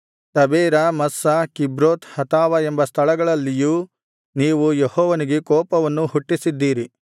Taberah Massah Kibroth Hattaavah ಎಂಬ ಸ್ಥಳಗಳಲ್ಲಿಯೂ ನೀವು ಯೆಹೋವನಿಗೆ ಕೋಪವನ್ನು ಹುಟ್ಟಿಸಿದ್ದಿರಿ